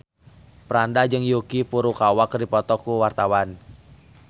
Franda jeung Yuki Furukawa keur dipoto ku wartawan